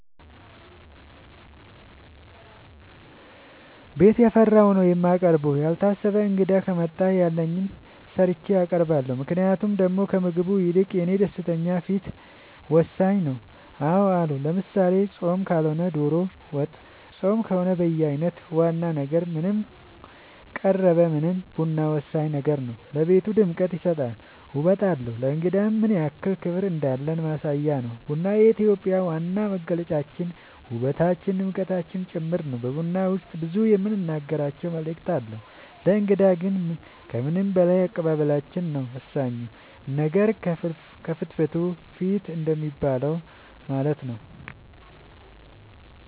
ቤት ያፈራውን ነው የማቀርበው ያልታሰበ እንግዳ ከመጣ ያለኝን ሰርቼ አቀርባለሁ ምክንያቱም ደሞ ከምግቡ ይልቅ የኔ ደስተኛ ፊት ወሳኝ ነው አዎ አሉ ለምሳሌ ፆም ካልሆነ ዶሮ ወጥ ፆም ከሆነ በየአይነት ዋና ነገር ምንም ቀረበ ምንም ቡና ወሳኝ ነገር ነው ለቤቱ ድምቀት ይሰጣል ውበት አለው ለእንግዳም ምንያክል ክብር እንዳለን ማሳያ ነው ቡና የኢትዮጵያ ዋና መገለጫችን ውበታችን ድምቀታችን ጭምር ነው በቡና ውስጥ ብዙ የምንናገራቸው መልዕክት አለው ለእንግዳ ግን ከምንም በላይ አቀባበላችን ነው ወሳኙ ነገር ከፍትፍቱ ፊቱ እንደሚባለው ማለት ነው